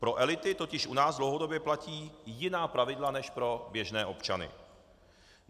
Pro elity totiž u nás dlouhodobě platí jiná pravidla než pro běžné občany.